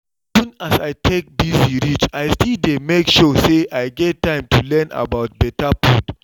even as i take busy reach i still dey make sure say i get time to learn about better food